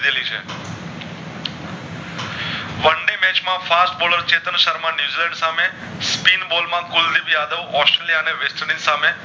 fast bowler Chetan Sharma New Zealand સામે speed ball માં Kuldeep Yadav Australia અને વેસ્ટેન્ડિશ ની સામે